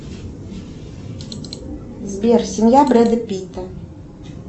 сбер семья бреда питта